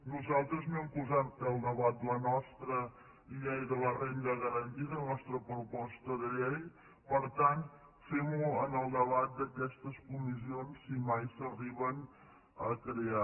nosaltres no hem posat al debat la nostra llei de la renda garantida la nostra proposta de llei per tant fem ho en el debat d’aquestes comissions si mai s’arriben a crear